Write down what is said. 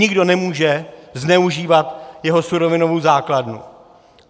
Nikdo nemůže zneužívat jeho surovinovou základnu.